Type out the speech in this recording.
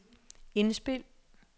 indspil